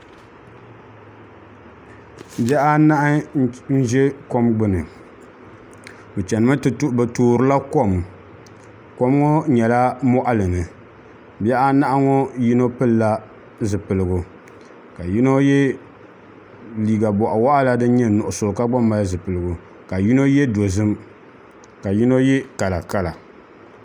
Bihi anahi n ʒi kom gbuni bi toorila kom kom ŋo nyɛla moɣali ni bihi anahi ŋo yino pilila zipiligu ka yino yɛ liiga boɣa waɣala din nyɛ nuɣso ka gba mali zipiligu ka yino yɛ dozim ka yino yɛ kalakala